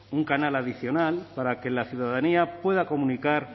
un canal adicional para que la ciudadanía pueda comunicar